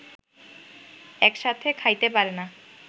একসাথে খাইতে পারেনা